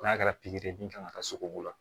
N'a kɛra pikiri min kan ka kɛ sogo la